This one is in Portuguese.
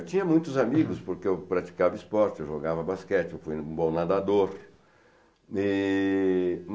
Eu tinha muitos amigos, porque eu praticava esporte, eu jogava basquete, eu fui um bom nadador. E